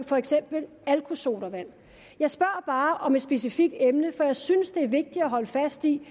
for eksempel alkoholsodavand jeg spørger bare om et specifikt emne for jeg synes det er vigtigt at holde fast i